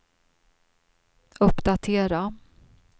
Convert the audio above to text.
uppdatera